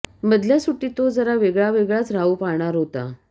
मधल्या सुट्टीत तो जरा वेगळा वेगळाच राहू पाहणार होता